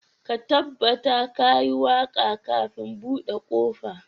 Ka tabbata ka yi waka kafin bude kofa